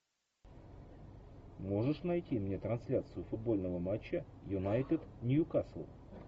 можешь найти мне трансляцию футбольного матча юнайтед нью касл